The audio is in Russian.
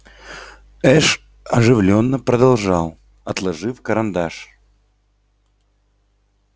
эш оживлённо продолжал отложив карандаш